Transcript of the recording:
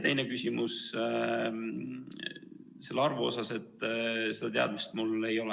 Teine küsimus selle arvu kohta – seda teadmist mul ei ole.